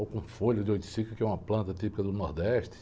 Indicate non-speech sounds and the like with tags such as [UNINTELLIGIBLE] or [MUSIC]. Ou com folha de, [UNINTELLIGIBLE] que é uma planta típica do Nordeste.